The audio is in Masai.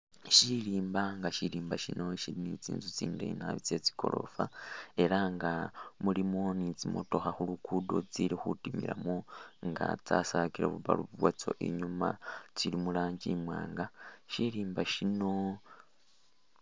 Syilimba, nga syilimba syino syilimu tsinzu tsindeeyi nabi tsye tsigorofa ela nga mulimo ni tsimotokha khu luguudo tsili khutimilamo nga tsasakile bu bulb bwatsyo inyuuma, tsili mu rangi imwaanga mu syirimba syino.